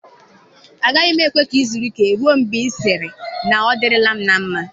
Agaghị m ekwe ka ị zuru ike ruo mgbe ị sịrị na ọ dịrịla m na mma